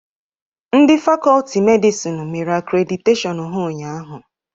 Ndị Fakọlti medịsinu mere akrediteshiọnu ha ụnyahụ.